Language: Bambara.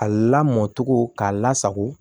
A lamɔn cogo k'a la sago